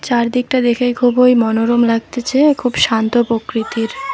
চারদিকটা দেখে খুবই মনোরম লাগতেছে খুব শান্ত প্রকৃতির।